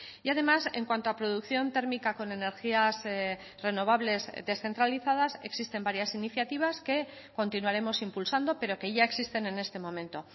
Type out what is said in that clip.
y además en cuanto a producción térmica con energías renovables descentralizadas existen varias iniciativas que continuaremos impulsando pero que ya existen en este momento